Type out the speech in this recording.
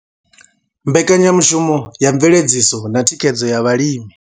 Mbekanyamushumo ya mveledziso na thikhedzo ya vhalimi.